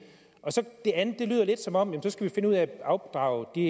det andet lyder lidt som om vi så skal finde ud af at afdrage de